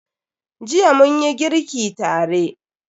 Jiya munyi girki tare.